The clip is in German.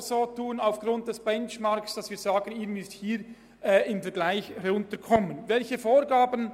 Aber aufgrund des Benchmarks müssten wir so oder so verlangen, dass die Kosten im interkantonalen Vergleich sinken.